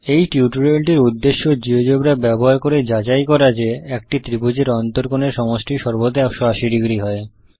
এই টিউটোরিয়ালটির উদ্দেশ্য জীয়োজেব্রা ব্যবহার করে যাচাই করা যে একটি ত্রিভুজের অন্তকোণ এর সমষ্টি সর্বদা 180 ডিগ্রী হয়